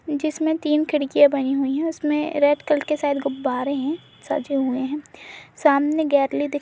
जिसमें तीन खिड़कियाँ बनी हुई है उसमे रेड कलर के शायद गुब्बारे है सजे हुए है सामने गैलरी दिख --